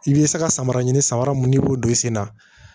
I bɛ se ka samara ɲini samara mun ni i b'o don i sen na